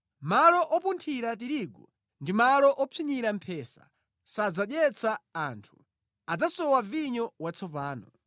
Malo opunthira tirigu ndi malo opsinyira mphesa sadzadyetsa anthu; adzasowa vinyo watsopano.